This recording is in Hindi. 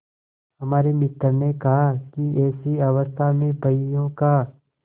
हमारे मित्र ने कहा कि ऐसी अवस्था में बहियों का